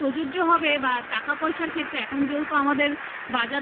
প্রযোজ্য হবে বা টাকা পয়সার ক্ষেত্রে এখন যেহেতু আমাদের